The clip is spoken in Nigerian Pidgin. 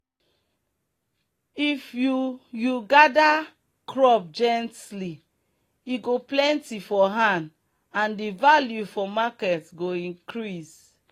if you you gather crop gently e go plenty for hand and the value for market go increase.